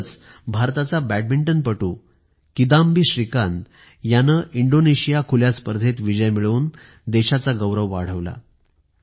नुकतंच भारताचा बॅडमिंटनपटू किदाम्बी श्रीकांत यांनी इंडोनेशिया खुल्या स्पर्धेत विजय मिळवून देशाचा गौरव वाढवला